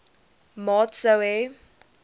maat sou hê